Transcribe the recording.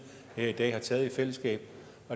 her i dag har taget i fællesskab